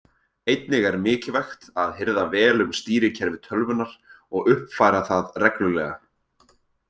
Einnig er mikilvægt að hirða vel um stýrikerfi tölvunnar og uppfæra það reglulega.